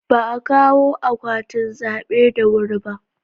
Ba a kawo akwatin zabe da wuri ba.